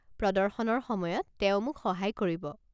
প্ৰদৰ্শনৰ সময়ত তেওঁ মোক সহায় কৰিব।